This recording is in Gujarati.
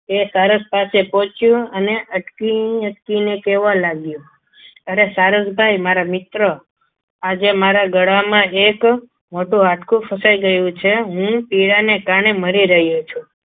તે સરસ પાસે પહોંચ્યો અને અટકે અટકીને કહેવા લાગ્યો અરે સારસ ભાઈ મારા મિત્ર આજે મારા ગળામાં એક મોટું હાડકું ફસાઈ ગયું છે હું પીડા ને કારણે મરી રહ્યો છું.